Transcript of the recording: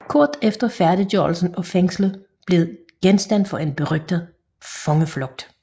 Kort efter færdiggørelsen af fængslet blev det genstand for en berygtet fangeflugt